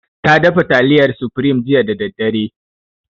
Ta dafa taliyar supreme jiya da daddare.